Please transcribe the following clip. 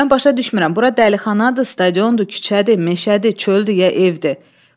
Mən başa düşmürəm, bura dəlixanadır, stadiondu, küçədi, meşədi, çöldü, ya evdir?